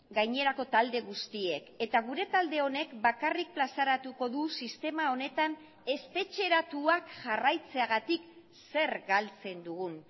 gainerako talde guztiek eta gure talde honek bakarrik plazaratuko du sistema honetan espetxeratuak jarraitzeagatik zer galtzen dugun